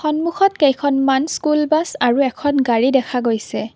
সন্মুখত কেইখনমান school bus আৰু এখন গাড়ী দেখা গৈছে।